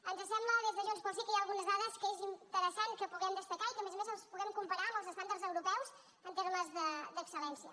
ens sembla des de junts pel sí que hi ha algunes dades que és interessant que puguem destacar i que a més a més les puguem comparar amb els estàndards europeus en termes d’excel·lència